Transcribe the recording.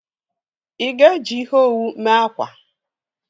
Ị ga-eji ihe owu mee akwa?